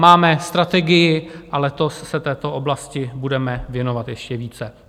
Máme strategii a letos se této oblasti budeme věnovat ještě více.